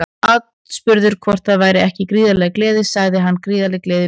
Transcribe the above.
Aðspurður hvort það væri ekki gríðarleg gleði sagði hann Gríðarleg gleði núna.